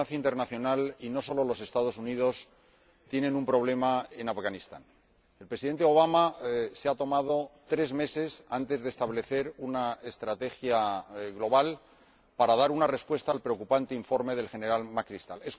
Señora Presidenta, la comunidad internacional, y no solo los Estados Unidos, tiene un problema en Afganistán. El Presidente Obama se ha tomado tres meses, antes de establecer una estrategia global, para dar una respuesta al preocupante informe del General McChrystal.